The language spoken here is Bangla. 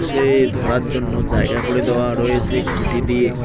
সে ধরার জন্য জায়গা করে দেওয়া রয়েছে খুঁটি দিয়ে।